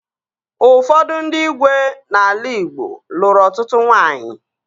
Ụfọdụ ndị igwe n'ala Igbo lụrụ ọtụtụ nwaanyị